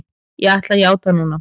Ég ætla að játa núna.